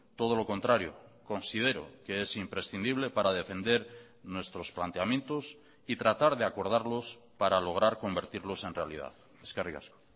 todo lo contrario considero que es imprescindible para defender nuestros planteamientos y tratar de acordarlos para lograr convertirlos en realidad eskerrik asko